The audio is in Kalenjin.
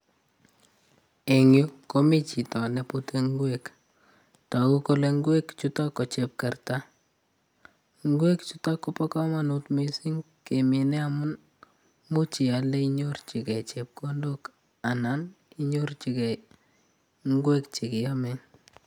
Eng' yuu, komi chito nepute ng'wek tokuu kole ng'wek chuto, ko chepkerta. Ng'wek chuto kopo komonut mising kemine amun imuch ialde inyorchikei chepkondok anan inyorchikei ng'wek chekiome.